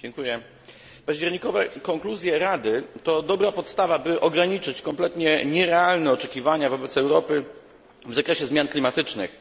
Panie przewodniczący! Październikowe konkluzje Rady to dobra podstawa, by ograniczyć kompletnie nierealne oczekiwania wobec Europy w zakresie zmian klimatycznych.